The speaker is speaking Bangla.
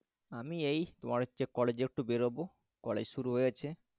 আমি এই তোমার হচ্ছে কলেজে একটু বেরোব, কলেজ শুরু হয়ে গেছে